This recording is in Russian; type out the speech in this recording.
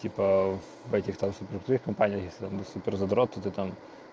типа в этих компаниях если супер задроты та